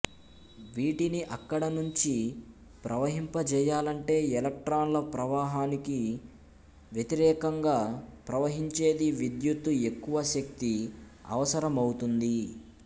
వీటిని అక్కడ నుంచి ప్రవహింపజేయాలంటే ఎలక్ట్రాన్ల ప్రవాహానికి వ్యతికరేకంగా ప్రవహించేది విద్యుత్తు ఎక్కువ శక్తి అవసరమౌతుంది